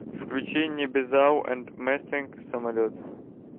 включи небезао энд мэстэнк самолет